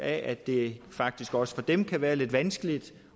at det faktisk også for dem kan være lidt vanskeligt